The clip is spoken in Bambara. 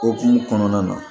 Okumu kɔnɔna na